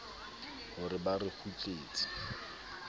ho re ba re kwetletse